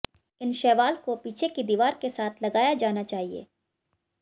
इन शैवाल को पीछे की दीवार के साथ लगाया जाना चाहिए